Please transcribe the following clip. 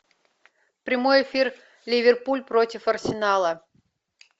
прямой эфир ливерпуль против арсенала